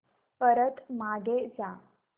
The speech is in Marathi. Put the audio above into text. परत मागे जा